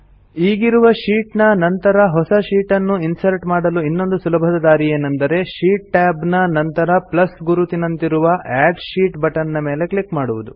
ಈಗಿರುವ ಶೀಟ್ ನ ನಂತರ ಹೊಸ ಶೀಟ್ ನ್ನು ಇನ್ಸರ್ಟ್ ಮಾಡಲು ಇನ್ನೊಂದು ಸುಲಭದ ದಾರಿಯೇನೆಂದರೆ ಶೀಟ್ ಟ್ಯಾಬ್ ನ ನಂತರ ಪ್ಲಸ್ ಗುರುತಿನಂತಿರುವ ಅಡ್ ಶೀಟ್ ಬಟನ್ ಮೇಲೆ ಕ್ಲಿಕ್ ಮಾಡುವುದು